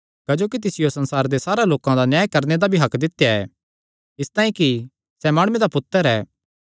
क्जोकि तिसियो संसारे दे सारे लोकां दा न्याय करणे दा भी हक्क दित्या ऐ इसतांई कि सैह़ माणुये दा पुत्तर ऐ